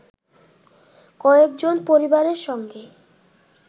কয়েকজনের পরিবারের সঙ্গে